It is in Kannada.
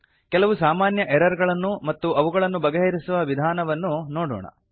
ಕೆಲವು ಸಾಮಾನ್ಯ ಎರರ್ ಗಳನ್ನೂ ಮತ್ತು ಅವುಗಳನ್ನು ಬಗೆಹರಿಸುವ ವಿಧಾನವನ್ನೂ ನೋಡೋಣ